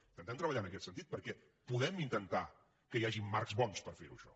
intentem treballar en aquest sentit perquè podem intentar que hi hagin marcs bons per ferho això